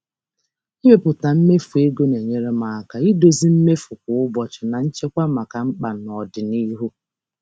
Ịmepụta mmefu ego na-enyere m aka idozi mmefu kwa ụbọchị na nchekwa maka mkpa n'ọdịnihu.